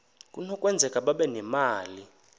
kunokwenzeka babe nemali